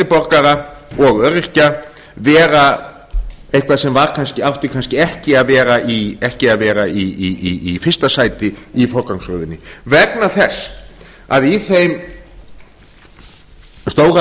borgara og öryrkja vera eitthvað sem átti kannski ekki að vera í fyrsta sæti í forgangsröðinni vegna þess að í þeim stóra